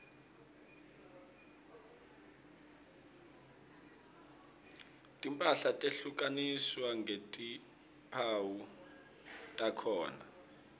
timphahla tehlukaniswa ngetimphawu takhona